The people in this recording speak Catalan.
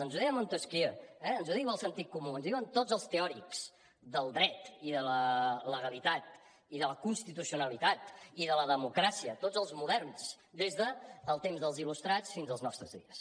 ens ho deia montesquieu eh ens ho diu el sentit comú ens ho diuen tots els teòrics del dret i de la legalitat i de la constitucionalitat i de la democràcia tots els moderns des dels temps dels il·lustrats fins als nostres dies